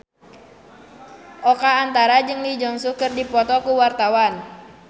Oka Antara jeung Lee Jeong Suk keur dipoto ku wartawan